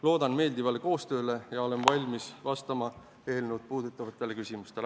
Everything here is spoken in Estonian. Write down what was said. Loodan meeldivale koostööle ja olen valmis vastama eelnõu puudutavatele küsimustele.